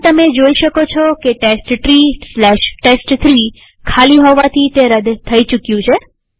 પણ તમે જોઈ શકો છો કે testtreeટેસ્ટ3 ખાલી હોવાથી તે રદ થઇ ચુક્યું છે